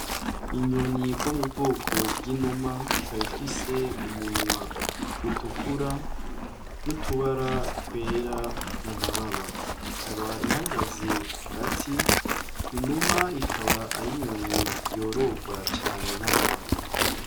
Inyoni bwo mu bwoko bw'inuma ikaba ifise umunwa utukura n'utubara twera mu mababa ikaba ihagaze ku gati inuma ikaba ayo inyoni yororwa cane n'abantu.